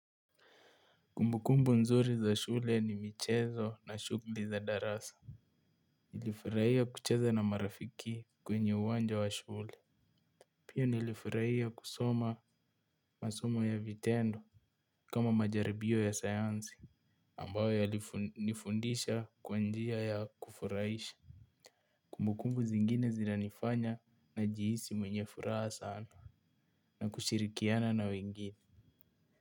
Kumbukumbu nzuri za shule ni michezo na shugli za darasa. Nilifurahia kucheza na marafiki kwenye uwanja wa shule. Pia nilifurahia kusoma masomo ya vitendo kama majaribio ya sayansi. Ambayo yalinifundisha kwa njia ya kufurahisha. Kumbukumbu zingine zinanifanya najihisi mwenye furaha sana na kushirikiana na wengine.